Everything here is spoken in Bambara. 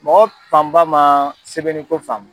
Mɔgɔ panba man sɛbɛnni ko faamu.